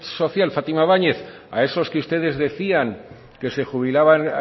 social fátima báñez a esos que ustedes decían que se jubilaban